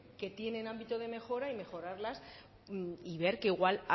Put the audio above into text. que tienen ámbito de mejora y mejorarlas y ver que igual